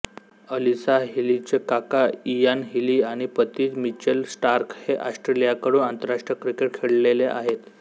Alisa हीलीचे काका Ian Healy आणि पती मिचेल स्टार्क हे ऑस्ट्रेलियाकडून आंतरराष्ट्रीय क्रिकेट खेळलेले आहेत